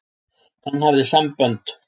Hann hafði sambönd.